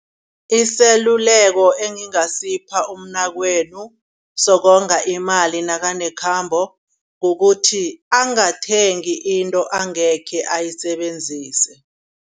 Iseluleko engingasipha umnakwenu sokonga imali nakanekhambo kukuthi angathengi into angekhe ayisebenzise.